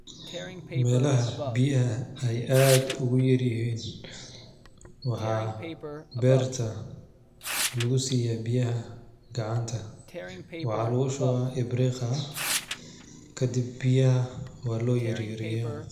Melaha ay biyaha ay ad uguyaryihin waxaa berta lugusiyaah biyaha gacanta, waxaa lugushubaah ibriqa kadib biyaha waloyaryareyah.